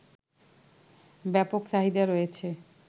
ব্যাপক চাহিদা রয়েছে